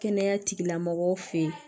Kɛnɛya tigilamɔgɔw fɛ yen